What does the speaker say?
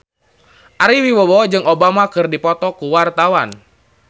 Ari Wibowo jeung Obama keur dipoto ku wartawan